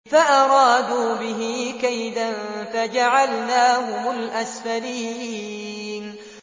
فَأَرَادُوا بِهِ كَيْدًا فَجَعَلْنَاهُمُ الْأَسْفَلِينَ